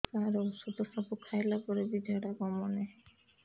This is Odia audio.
ସାର ଔଷଧ ସବୁ ଖାଇଲା ପରେ ବି ଝାଡା କମୁନି